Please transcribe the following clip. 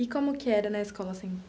E como que era na escola assim?